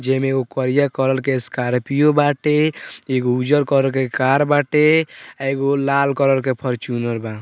जेमे एगो करिया कलर के स्कार्पियो बाटे एगो उज्जर कलर के कार बाटे एगो लाल कलर के फॉर्च्यूनर बा।